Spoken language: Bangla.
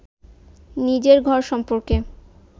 নিজের ঘর সম্পর্কে